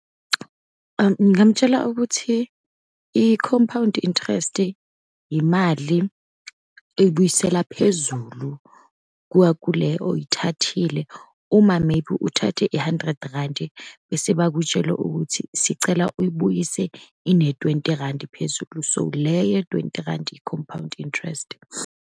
Ngingamtshela ukuthi i-compound interest, imali uyibuyisela phezulu kwakule oyithathile. Uma, maybe uthathe i-hundred randi, bese bakutshele ukuthi sicela uyibuyise ine-twenty randi phezulu. So, le ye-twenty randi, i-compound interest.